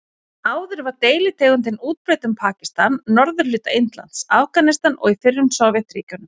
Áður var deilitegundin útbreidd um Pakistan, norðurhluta Indlands, Afganistan og í fyrrum Sovétríkjunum.